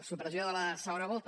supressió de la segona volta